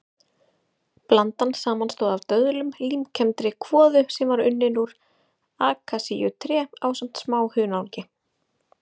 Blandan samanstóð af döðlum, límkenndri kvoðu sem var unnin úr akasíutré ásamt smá hunangi.